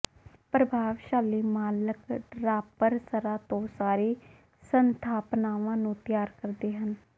ਪ੍ਰਤਿਭਾਸ਼ਾਲੀ ਮਾਲਕ ਡਰਾਪਰਸਰਾਂ ਤੋਂ ਸਾਰੀ ਸਥਾਪਨਾਵਾਂ ਨੂੰ ਤਿਆਰ ਕਰਦੇ ਹਨ